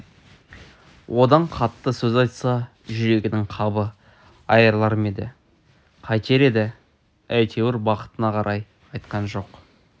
одан қатты сөз айтса жүрегінің қабы айрылар ма еді қайтер еді әйтеуір бақытына қарай айтқан жоқ